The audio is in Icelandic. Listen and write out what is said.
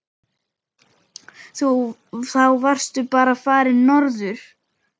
Þá varstu bara farinn norður.